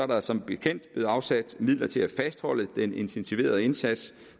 der som bekendt blevet afsat midler til at fastholde den intensiverede indsats